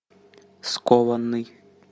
скованный